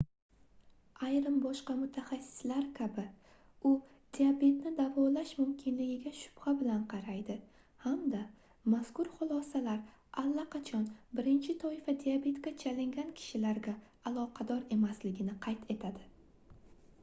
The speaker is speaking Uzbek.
ayrim boshqa mutaxassislar kabi u diabetni davolash mumkinligiga shubha bilan qaraydi hamda mazkur xulosalar allaqachon 1-toifa diabetga chalingan kishilarga aloqador emasligini qayd etadi